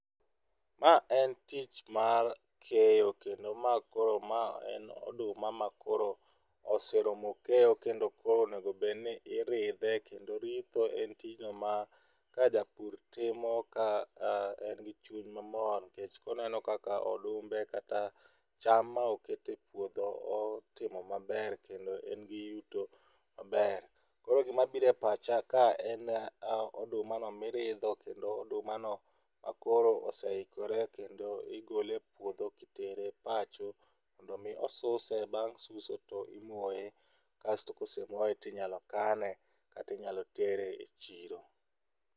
Ma en tich mar keyo kendo ma koro ma en oduma makoro oseromo keyo, kendo koro onego bedni iridhe kendo ritho en tijno ma ka japur timo ka en gi chuny mamor nikech koneno ka odumbe kata cham ma oketo epuotho otimo maber, kendo en gi yuto maber. Koro gima biro e pacha ka en kaka odumano miridho kendo odumano koro oseikore kendo igole e puodho kitere pacho mondo mi osuse. Bang' suso to imoye kasto ka ose moye to inyalo kane kata inyalo tere chiro.